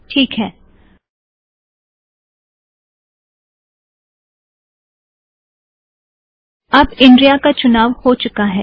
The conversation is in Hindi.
टीक है - अब इनरिया का चुनाव हो चूका है